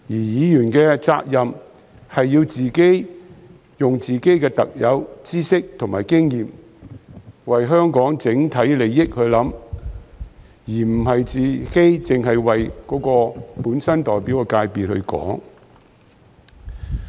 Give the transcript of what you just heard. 議員的責任是要利用自己的特有知識和經驗為香港整體利益設想，而非只為自己所代表的界別發聲。